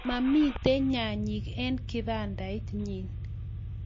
Mamito nyanyek eng' kibandait nyin